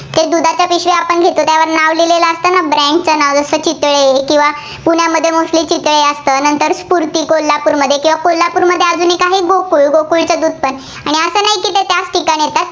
दुधाच्या पिशव्या आपण घेतो, त्यावर नाव लिहिलेलं असतं. brand चं नाव, जसे चितळे किंवा पुण्यामध्ये चितळे असतं. स्फुर्ती कोल्हापूरमध्ये किंवा कोल्हापूरमध्ये अजून एक आहे गोकुळ.